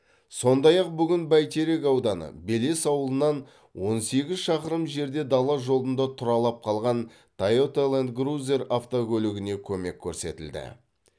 сондай ақ бүгін бәйтерек ауданы белес ауылынан он сегіз шақырым жерде дала жолында тұралап қалған тойота ланд крузер автокөлігіне көмек көрсетілді